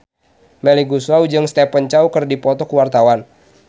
Melly Goeslaw jeung Stephen Chow keur dipoto ku wartawan